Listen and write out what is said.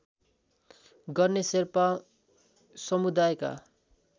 गर्ने शेर्पा समुदायका